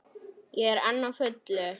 Ég er enn á fullu.